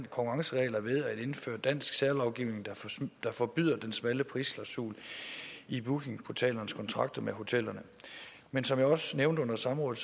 konkurrenceregler ved at indføre dansk særlovgivning der forbyder den smalle prisklausul i bookingportalernes kontrakter med hotellerne men som jeg også nævnte under samrådet